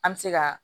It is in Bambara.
An bɛ se ka